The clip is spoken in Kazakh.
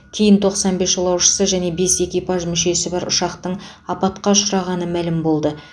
кейін тоқсан бес жолаушысы және бес экипаж мүшесі бар ұшақтың апатқа ұшырағаны мәлім болды